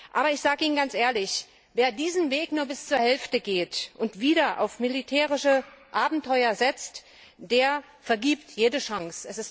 Aber ich sage Ihnen ganz ehrlich, wer diesen Weg nur bis zur Hälfte geht und wieder auf militärische Abenteuer setzt, der vergibt jede Chance.